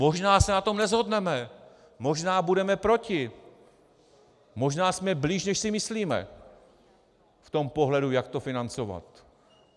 Možná se na tom neshodneme, možná budeme proti, možná jsme blíž, než si myslíme v tom pohledu, jak to financovat.